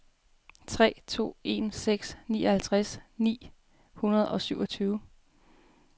tre to en seks nioghalvtreds ni hundrede og syvogtyve